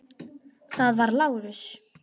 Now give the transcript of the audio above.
Það var Lárus.